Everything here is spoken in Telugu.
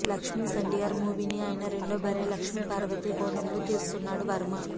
లక్ష్మీస్ ఎన్టీఆర్ మూవీని ఆయన రెండో భార్య లక్ష్మీపార్వతి కోణంలో తీస్తున్నాడు వర్మ